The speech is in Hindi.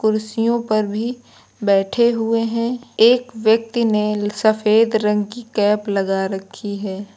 कुर्सियों पर भी बैठे हुए हैं एक व्यक्ति ने सफेद रंग की कैप लगा रखी है।